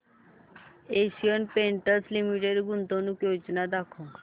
Asian Paints limited गुंतवणूक योजना दाखव